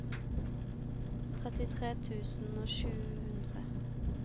trettitre tusen og sju hundre